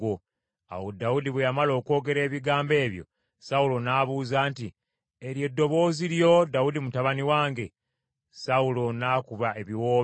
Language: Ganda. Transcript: Awo Dawudi bwe yamala okwogera ebigambo ebyo, Sawulo n’abuuza nti, “Eryo ddoboozi lyo, Dawudi mutabani wange?” Sawulo n’akuba ebiwoobe.